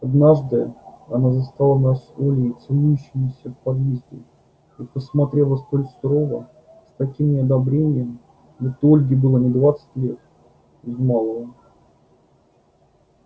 однажды она застала нас с олей целующимися в подъезде и посмотрела столь сурово с таким неодобрением будто ольге было не двадцать лет без малого